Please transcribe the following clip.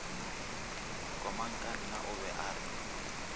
komangkanna o be a re